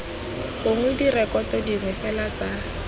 gongwe direkoto dingwe fela tsa